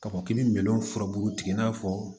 K'a fɔ k'i bɛ minɛn furabulu tigɛ i n'a fɔ